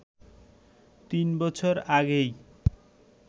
৩ বছর আগেই